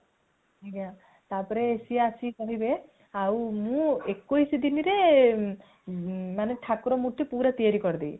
ଆଜ୍ଞା ତା ପରେ ସିଏ ଆସି କହିବେ ଆଉ ମୁଁ ଏକୋଇଶ ଦିନରେ ମାନେ ଠାକୁର ମୂର୍ତି ପୁରା ତିଆରି କରି ଦେବି